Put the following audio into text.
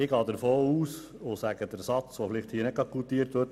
Ich gehe davon aus und sage einen Satz, der möglicherweise nicht goutiert wird: